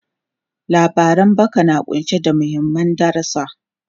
Labaran baki na kunshe da mahimman darusa.